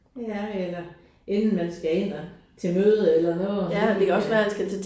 Ja eller inden man skal ind og til møde eller noget